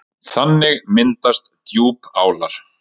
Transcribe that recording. Þannig myndast djúpálar.